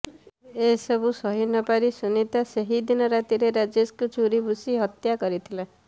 ଏସବୁ ସହିନପାରି ସୁନୀତା ସେହିଦିନ ରାତିରେ ରାଜେଶଙ୍କୁ ଛୁରୀ ଭୁଷି ହତ୍ୟା କରିଥିଲା